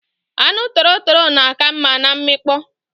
Anu torotoro na aka nma na nmikpo